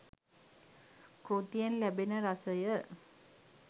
කෘතියෙන් ලැබෙන රසය